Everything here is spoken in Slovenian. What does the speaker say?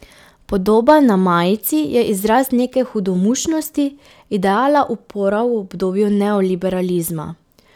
Podoba na majici je izraz neke hudomušnosti, ideala upora v obdobju neoliberalizma.